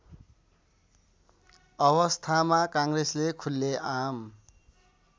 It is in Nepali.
अवस्थामा काङ्ग्रेसले खुल्लेआम